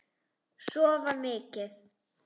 Sofa mikið.